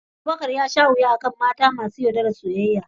Abubakar ya sha wuya daga mata masu yaudarar soyayya